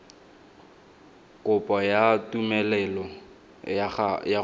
kopo ya tumelelo ya go